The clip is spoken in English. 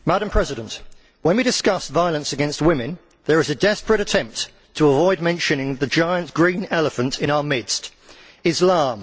Madam President, when we discuss violence against women, there is a desperate attempt to avoid mentioning the giant green elephant in our midst Islam.